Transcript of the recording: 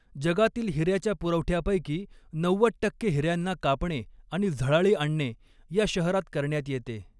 जगातील हिऱ्याच्या पुरवठ्यापैकी नव्वद टक्के हिऱ्यांना कापणे आणि झळाळी आणणे या शहरात करण्यात येते.